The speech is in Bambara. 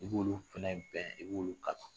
I b'olu fana bɛn, i b'olu kala.